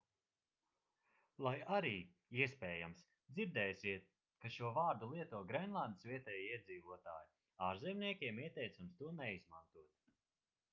lai arī iespējams dzirdēsiet ka šo vārdu lieto grenlandes vietējie iedzīvotāji ārzemniekiem ieteicams to neizmantot